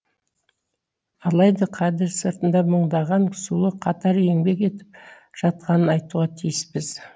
алайда кадр сыртында мыңдаған сұлу қатар еңбек етіп жатқанын айтуға тиіспіз